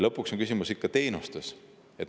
Lõpuks on küsimus ikka teenustes.